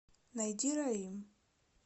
найди раим